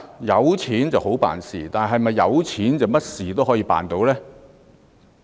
有錢好辦事，但是否有錢便甚麼事都可以辦到呢？